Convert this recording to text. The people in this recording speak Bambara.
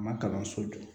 Ma kalanso jɔ